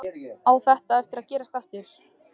Á þetta eftir að gerast aftur?